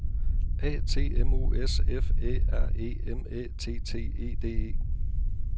A T M O S F Æ R E M Æ T T E D E